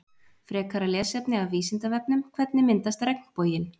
frekara lesefni af vísindavefnum hvernig myndast regnboginn